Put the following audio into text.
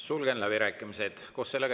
Sulgen läbirääkimised.